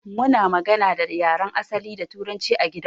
Muna magana da yaren asali da turanci a gidan mu.